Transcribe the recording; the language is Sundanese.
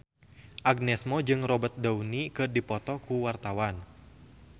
Agnes Mo jeung Robert Downey keur dipoto ku wartawan